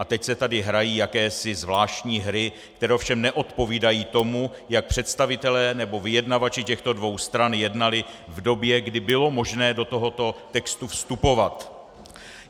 A teď se tady hrají jakési zvláštní hry, které ovšem neodpovídají tomu, jak představitelé nebo vyjednavači těchto dvou stran jednali v době, kdy bylo možné do tohoto textu vstupovat.